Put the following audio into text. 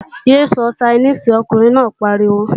Yé sọ Ṣainíìsì, ọkùnrin náà pariwo!